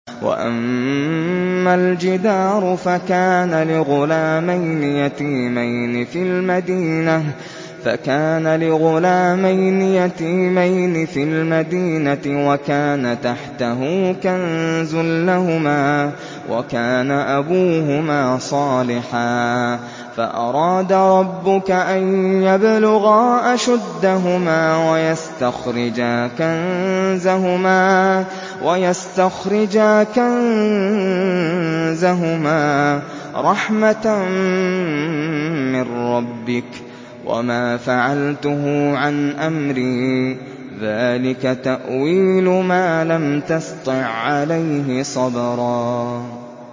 وَأَمَّا الْجِدَارُ فَكَانَ لِغُلَامَيْنِ يَتِيمَيْنِ فِي الْمَدِينَةِ وَكَانَ تَحْتَهُ كَنزٌ لَّهُمَا وَكَانَ أَبُوهُمَا صَالِحًا فَأَرَادَ رَبُّكَ أَن يَبْلُغَا أَشُدَّهُمَا وَيَسْتَخْرِجَا كَنزَهُمَا رَحْمَةً مِّن رَّبِّكَ ۚ وَمَا فَعَلْتُهُ عَنْ أَمْرِي ۚ ذَٰلِكَ تَأْوِيلُ مَا لَمْ تَسْطِع عَّلَيْهِ صَبْرًا